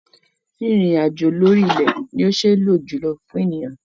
Rírin ìrìn àjò lórí ilẹ̀ ni ó ṣe lò jùlọ fún ènìyàn.